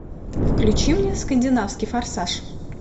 включи мне скандинавский форсаж